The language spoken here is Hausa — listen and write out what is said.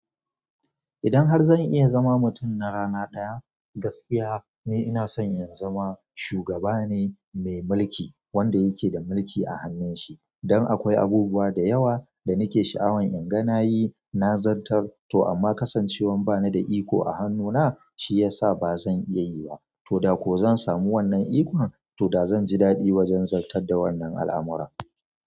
Idan har zan iya zama mutum na rara ɗaya, gaskiya ne ina son in zama shugaba ne mai mulki, wanda yake da mulki a hannun shi. Don akwai abubuwa da yawa da nake sha'awan in ga na yi, na zantar. To amma kasancewan ba ni da iko a hannuna shi ya sa ba zan iya yi ba. To da ko zan samu wannan ikon, to da zan ji daɗi wajen zantar da wannan al'amura.